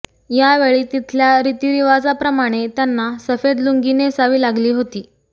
यावेळी तिथल्या रितीरिवाजाप्रमाणे त्यांना सफेद लुंगी नेसावी लागली होती